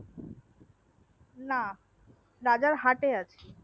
না রাজার হাটে আছি